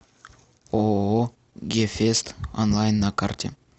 ооо гефест онлайн на карте